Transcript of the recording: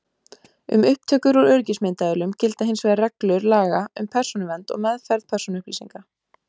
Um upptökur úr öryggismyndavélum gilda hins vegar reglur laga um persónuvernd og meðferð persónuupplýsinga.